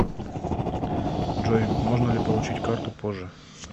джой можно ли получить карту позже